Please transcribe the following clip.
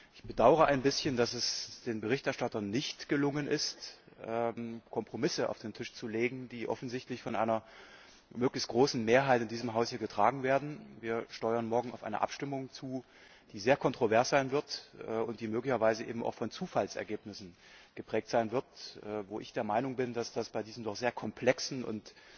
Ich bedaure ein bisschen, dass es den Berichterstattern nicht gelungen ist, Kompromisse auf den Tisch zu legen, die offensichtlich von einer möglichst großen Mehrheit in diesem Haus hier getragen werden. Wir steuern morgen auf eine Abstimmung zu, die sehr kontrovers sein wird und die möglicherweise auch von Zufallsergebnissen geprägt sein wird, wo ich der Meinung bin, dass das bei diesem doch sehr komplexen und